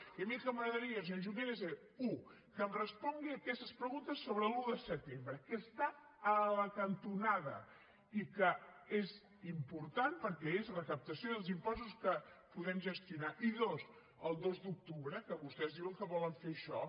i a mi el que m’agradaria senyor junqueras és u que em respongui aquestes preguntes sobre l’un de setembre que està a la cantonada i que és important perquè és recaptació dels impostos que podem gestionar i dos el dos d’octubre que vostès diuen que volen fer això